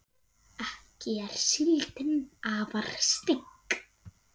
ekki er síldin afar stygg